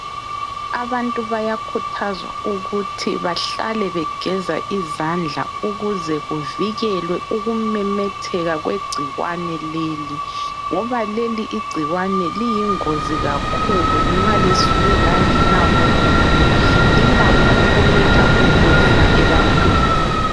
Abantu bayakhuthazwa ukuthi bahlale begeza izandla ukuze kuvikelwe ukumemetheka kwegcikwane leli ngoba leli igcikwane liyingozi kakhulu nxa lisuke langena komunye. Lilakho ukuletha ukufa ebantwini.